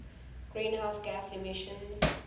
greenhouse gas emissions